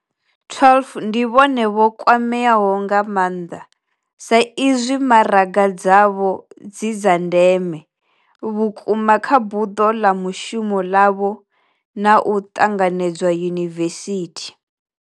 12 ndi vhone vho kwameaho nga maanḓa, saizwi maraga dzavho dzi dza ndeme vhukuma kha buḓo ḽa mushumo ḽavho na u ṱanganedzwa yunivesithi.